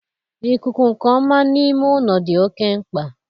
ikuku nke ọma n'ime ime ụlọ dị oke mkpa.